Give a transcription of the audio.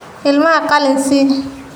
Ilmaha qalin sii.